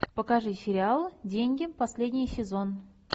покажи сериал деньги последний сезон